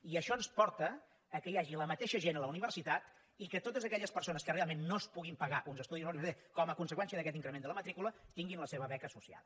i això ens porta al fet que hi hagi la mateixa gent a la universitat i que totes aquelles persones que realment no es puguin pagar uns estudis a la universitat com a conseqüència d’aquest increment de la matrícula tinguin la seva beca associada